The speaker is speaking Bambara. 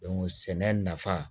sɛnɛ nafa